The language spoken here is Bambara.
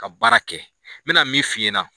Ka baara kɛ n bɛ na min f'i ɲɛnɛ.